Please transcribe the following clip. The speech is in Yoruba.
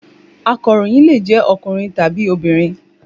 Akàròyìn lè jẹ́ ọkùnrin tàbí obìnrin.